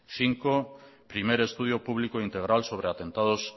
cinco primer estudio público integral sobre atentados